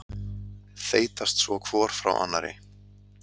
Þeytast svo hvor frá annarri.